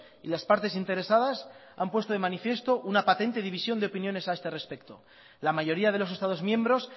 y las partes interesadas han puesto de manifiesto una patente división de opiniones a este respecto la mayoría de los estados miembros